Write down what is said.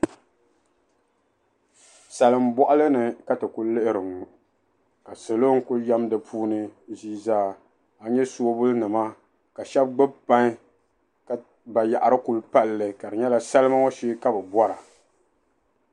Salimbɔɣili ni ka ti ku lihiri ŋɔ ka salo ku yɛm di puuni ʒii zaa. A nya soobulinima ka shɛba pain ka bayaɣiri kuli pali li ka di nyɛla salima ŋɔ shee ka bɛ bɔra.